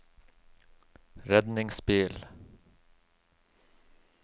redningsbil